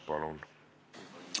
Palun!